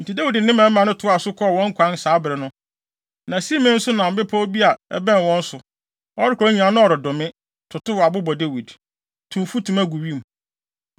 Enti Dawid ne ne mmarima toaa so kɔɔ wɔn kwan a saa bere no, na Simei nso nam bepɔw bi a ɛbɛn wɔn so. Ɔrekɔ no nyinaa, na ɔredome, totow abo bɔ Dawid, tu mfutuma gu wim.